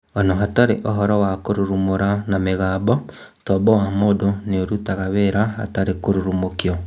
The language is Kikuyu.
Ona hatarĩ ũhoro wa kũrurumũra na mĩgambo, tombo wa mũndũ nĩũrutaga wĩra hatarĩ kũrurumũkio